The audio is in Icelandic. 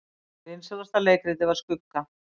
Vinsælasta leikritið var Skugga